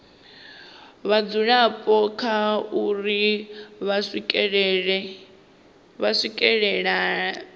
vhadzulapo kha uri vha swikelela